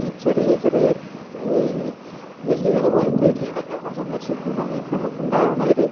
ഈ ചെറിയ ചെറിയ ഗല്ലികൾ പോലത്തെ ഏരിയകൾ സന്ദർശിക്കുന്ന സമയത്തു നമുക്കുണ്ടാകുന്ന ഒരു